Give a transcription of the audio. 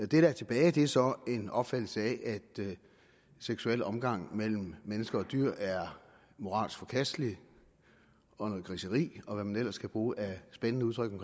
der er tilbage er så en opfattelse af at seksuel omgang mellem mennesker og dyr er moralsk forkastelig og noget griseri og hvad man ellers kan bruge af spændende udtryk om